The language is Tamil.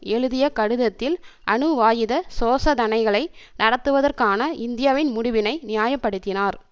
எழுதிய கடிதத்தில் அணுவாயுத சோசதனைகளை நடத்துவதற்கான இந்தியாவின் முடிவினை நியாய படுத்தினார்